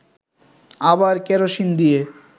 আবার কেরোসিন দিয়ে